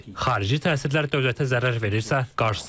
Xarici təsirlər dövlətə zərər verirsə, qarşısı alınmalı.